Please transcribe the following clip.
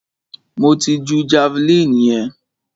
Mo ti ju javeline yẹn.